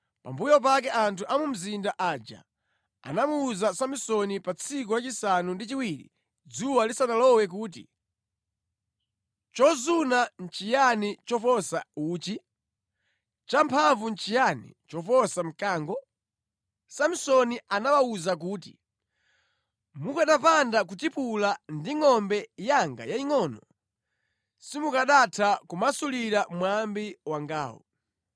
Pambuyo pake anthu a mu mzinda aja anamuwuza Samsoni pa tsiku lachisanu ndi chiwiri dzuwa lisanalowe kuti, “Chozuna nʼchiyani choposa uchi? Champhamvu nʼchiyani choposa mkango?” Samsoni anawawuza kuti, “Mukanapanda kutipula ndi ngʼombe yanga yayingʼono, simukanatha kumasulira mwambi wangawu.”